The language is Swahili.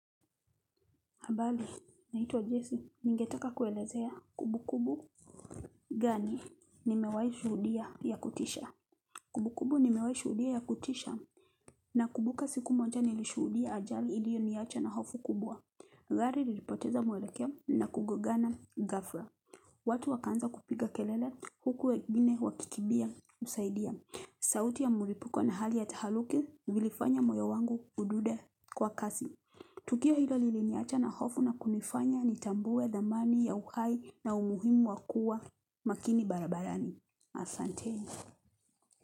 Habari, naitwa Jesse. Ningetaka kuelezea kumbukumbu gani nimewahi shuhudia ya kutisha. Kumbukumbu nimewahi shuhudia ya kutisha nakumbuka siku moja nilishuhudia ajali iliyoniacha na hofu kubwa. Gari lilipoteza mwelekeo na kugongana ghafla. Watu wakaanza kupiga kelele huku wengine wakikimbia kusaidia. Sauti ya mlipuko na hali ya tahaluki vilifanya moyo wangu udunde kwa kasi. Tukio hilo liliniacha na hofu na kunifanya nitambue thamani ya uhai na umuhimu wa kuwa makini barabarani. Ahsante.